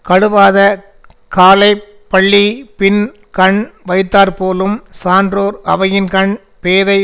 கழுவாத காலை பள்ளிபின்கண் வைத்தாற்போலும் சான்றோர் அவையின்கண் பேதை